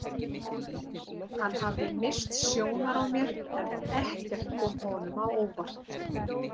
Hann hafði misst sjónar á mér en ekkert kom honum á óvart.